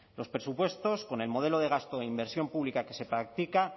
los presupuestos con el modelo de gasto e inversión pública que se practica